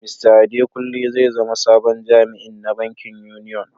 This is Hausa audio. Mista Adekunle zai zama sabon jami'in na bankin Union.